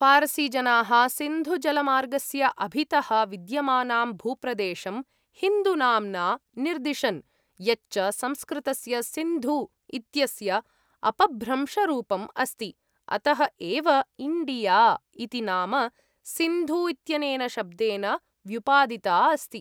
फारसीजनाः सिन्धुजलमार्गस्य अभितः विद्यमानां भूप्रदेशं हिन्दूनाम्ना निरदिशन्, यच्च संस्कृतस्य सिन्धु इत्यस्य अपभ्रंशरूपम् अस्ति, अतः एव इण्डिया इति नाम सिन्धु इत्यनेन शब्देन व्युपादिता अस्ति।